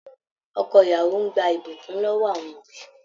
Ọkọ ìyàwó n gbà ibukún lọwọ àwọn òbí rẹ.